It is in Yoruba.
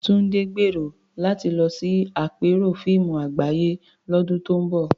Tunde gbèrò láti lọ sí àpérò fíìmù àgbáyé lọ́dún tó ń bọ̀.